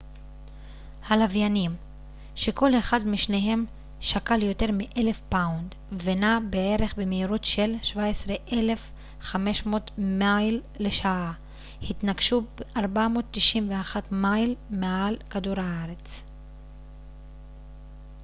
הלוויינים שכל אחד משניהם שקל יותר מ-1,000 פאונד ונע בערך במהירות של כ-17,500 מייל לשעה התנגשו 491 מייל מעל כדור הארץ